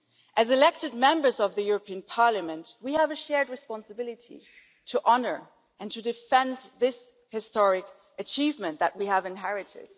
As elected Members of the European Parliament we have a shared responsibility to honour and to defend this historic achievement that we have inherited.